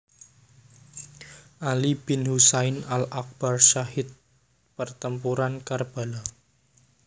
Ali bin Husain al AkbarSyahid Pertempuran Karbala